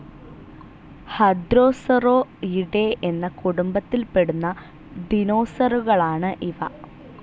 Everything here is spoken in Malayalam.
ഹദ്രോസറോയിഡേ എന്ന കുടുംബത്തിൽ പെടുന്ന ദിനോസറുകളാണ് ഇവ.